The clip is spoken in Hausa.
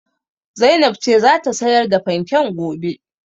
Zainab ce za ta sayar da fanken gobe.